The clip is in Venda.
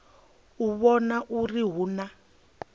u vhona uri hu na